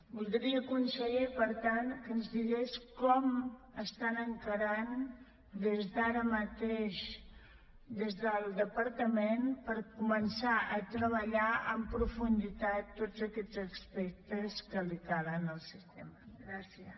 voldria conseller per tant que ens digués com estan encarant des d’ara mateix des del departament per començar a treballar en profunditat tots aquests aspectes que calen al sistema gràcies